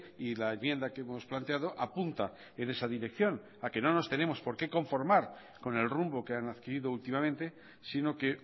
y la enmienda que hemos planteado apunta en esa dirección a que no nos tenemos por qué conformar con el rumbo que han adquirido últimamente sino que